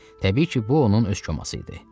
Təbii ki, bu onun öz koması idi.